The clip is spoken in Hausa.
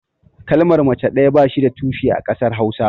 Kalmar mace ɗaya ba shi da tushe a ƙasar hausa.